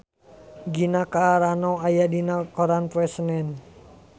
Gina Carano aya dina koran poe Senen